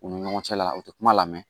U ni ɲɔgɔn cɛla la u tɛ kuma lamɛn